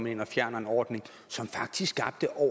ind og fjerner en ordning som faktisk skabte over